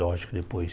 Lógico que depois...